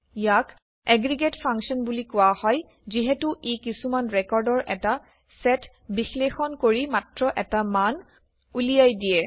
ইয়াক aggregate function বুলি কোৱা হয় যিহেতু ই কিছুমান ৰেকৰ্ডৰ এটা চেট বিশ্লেষণ কৰি মাত্ৰ এটা মান উলিয়াই দিয়ে